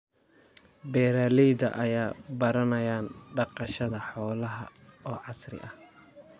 Beeralayda ayaa baranaya dhaqashada xoolaha oo casri ah.